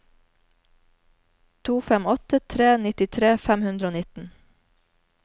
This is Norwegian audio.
to fem åtte tre nittitre fem hundre og nitten